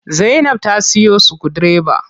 Zainab ta siyo sukudireba.